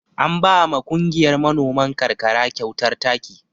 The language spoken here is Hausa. An ba ma kungiyar manoman ƙarƙara kyautar taki.